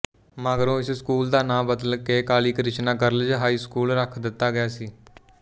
ਮਗਰੋਂ ਇਸ ਸਕੂਲ ਦਾ ਨਾਮ ਬਦਲ ਕੇ ਕਾਲੀਕ੍ਰਿਸ਼ਨਾ ਗਰਲਜ਼ ਹਾਈ ਸਕੂਲ ਰੱਖ ਦਿੱਤਾ ਗਿਆ ਸੀ